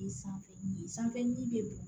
Sanfɛ sanfɛ yiri bɛ bɔn